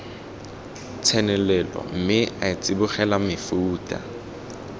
tsenelelo mme a tsibogela mefuta